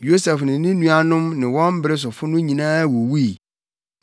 Yosef ne ne nuanom ne wɔn bere sofo no nyinaa wuwui,